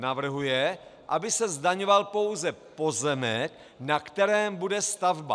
Navrhuje, aby se zdaňoval pouze pozemek, na kterém bude stavba.